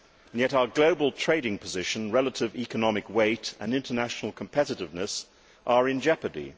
Yet our global trading position, relative economic weight and international competitiveness are in jeopardy.